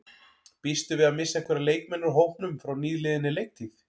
Býstu við að missa einhverja leikmenn úr hópnum frá nýliðinni leiktíð?